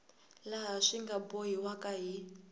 laha swi nga bohiwaka hi